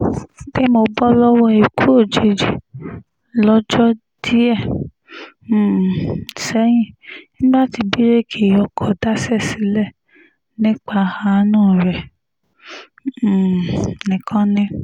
pé mo bọ́ lọ́wọ́ ikú òjijì lọ́jọ́ díẹ̀ um sẹ́yìn nígbà tí bíréèkì ọkọ̀ daṣẹ́ sílẹ̀ nípa àánú rẹ̀ um nìkan ni